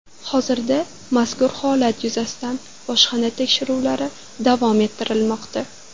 Hozirda mazkur holat yuzasidan bojxona tekshiruvlari davom ettirilmoqda.